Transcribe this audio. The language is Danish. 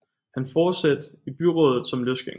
Han forsatte i byrådet som løsgænger